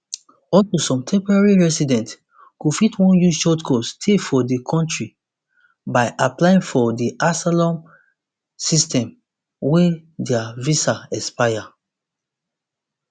also some temporary residents go fit wan use shortcut stay for di kontri by applying for di asylum system wen dia visa expire